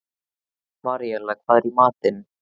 Maríella, hvað er í matinn?